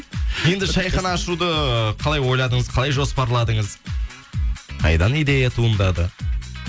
енді шайхана ашуды қалай ойладыңыз қалай жоспарладыңыз қайдан идея туындады